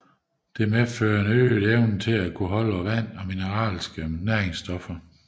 Det medfører en øget evne til at fastholde vand og mineralske næringsstoffer